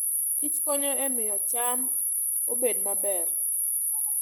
Kich konyo e miyo cham obed maber.